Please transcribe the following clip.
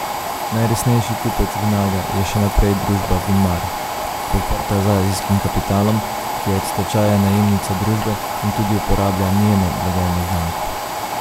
Najresnejši kupec Vinaga je še naprej družba Vinmar, podprta z azijskim kapitalom, ki je od stečaja najemnica družbe in tudi uporablja njeno blagovno znamko.